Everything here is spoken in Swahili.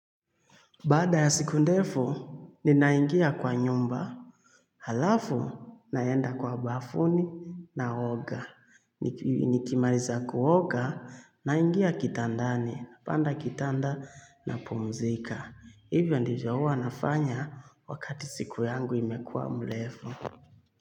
Baada ya siku ndefu, ninaingia kwa nyumba. Halafu, naenda kwa bafuni na oga. Nikimaliza kuoga, naingia kitandani, panda kitanda na pumzika. Hivyo ndivyohuwa nafanya wakati siku yangu imekua mrefu.